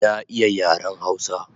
Na iya yaren hausa